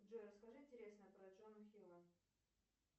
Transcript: джой расскажи интересное про джона хилла